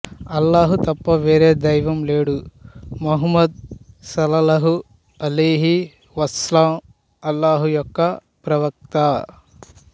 అల్లాహ్ తప్ప వేరే దైవం లేడు ముహమ్మద్ సల్లల్లాహు అలైహి వసల్లం అల్లాహ్ యొక్క ప్రవక్త